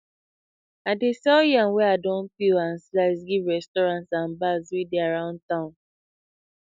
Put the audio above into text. i dey sell yam wey i don peel and slice give restaurants and bars wey dey around town